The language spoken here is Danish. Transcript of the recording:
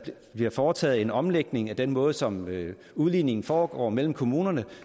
bliver foretaget en omlægning af den måde som udligningen foregår på mellem kommunerne